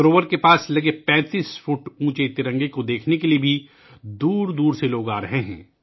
جھیل کے قریب 35 فٹ اونچے ترنگے کو دیکھنے کے لئے لوگ دور دور سے آرہے ہیں